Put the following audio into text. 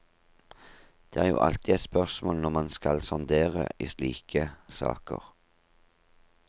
Det er jo alltid et spørsmål når man skal sondere i slike saker.